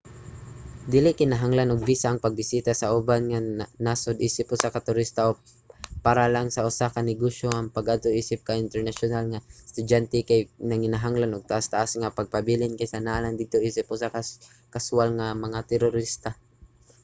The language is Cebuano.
dili kinahanglan og visa ang pagbisita sa uban nga mga nasod isip usa ka turista o para lang sa usa ka negosyo ang pag-adto isip usa ka internasyonal nga estudyante kay nanginahanglan og taas-taas nga pagpabilin kaysa naa lang didto isip usa ka kaswal mga turista